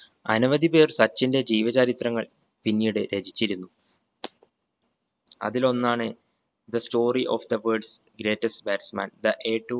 അനവധി പേർ സച്ചിന്റെ ജീവ ചരിത്രങ്ങൾ പിന്നീട് രചിച്ചിരുന്നു അതിലൊന്നാണ് The story of the world's greatest batsman the